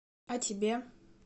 а тебе